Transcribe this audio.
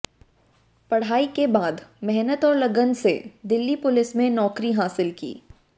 पढ़ाई के बाद मेहनत और लगन से दिल्ली पुलिस में नौकरी हासिल की